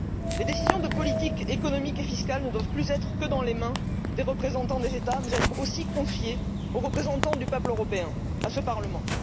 Les décisions de politique économique et fiscale ne doivent plus être uniquement aux mains des représentants des États, mais elles doivent aussi être confiées aux représentants du peuple européen, à ce Parlement.